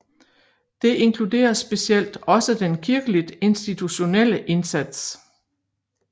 Det inkluderer specielt også den kirkeligt institutionelle indsats